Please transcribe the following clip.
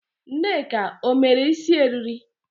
Nneka o mere isi eriri?